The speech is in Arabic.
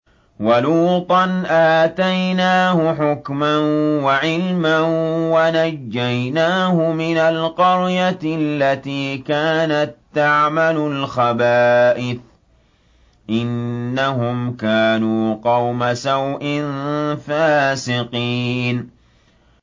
وَلُوطًا آتَيْنَاهُ حُكْمًا وَعِلْمًا وَنَجَّيْنَاهُ مِنَ الْقَرْيَةِ الَّتِي كَانَت تَّعْمَلُ الْخَبَائِثَ ۗ إِنَّهُمْ كَانُوا قَوْمَ سَوْءٍ فَاسِقِينَ